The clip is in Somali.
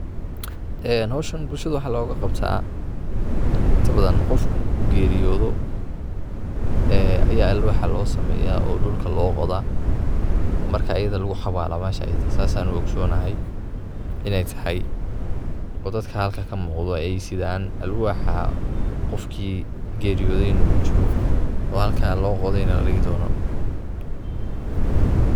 Ee hoshan bulshada waxa loga qabtaa, inta badan qof marku geriyoodo ee ya alwaxa loo sameeya oo dhulka loo qodaa marka ayida lugu xawalaa mesha iyida ah, sas ayan u ogsanahay inay tahay oo dadka halka kamuqdo ay sidaan alwaxa qofkii geeriyoday na kuchiro oo halkaa loo qoday na ladhigi dono